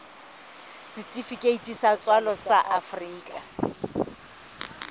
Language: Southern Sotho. setifikeiti sa tswalo sa afrika